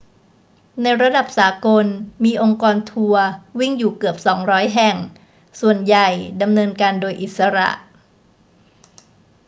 ในระดับสากล มีองค์กรทัวร์วิ่งอยู่เกือบ 200 แห่ง ส่วนใหญ่ดำเนินการโดยอิสระ